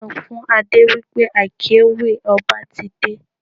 Sọ fún Adé wí pé akéwì ọba ti dé.